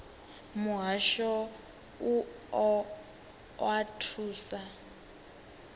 muhasho u o oa thuso